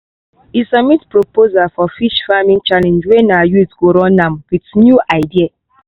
e submit proposal for fish farming challenge wey na youth go run am with new idea.